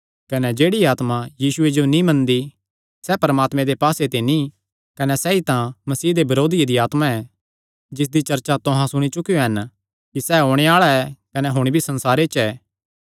कने जेह्ड़ी आत्मा यीशुये जो नीं मनदी सैह़ परमात्मे दे पास्से ते नीं कने सैई तां मसीह दे बरोधिये दी आत्मा ऐ जिसदी चर्चा तुहां सुणी चुकेयो हन कि सैह़ ओणे आल़ा ऐ कने हुण भी संसारे च ऐ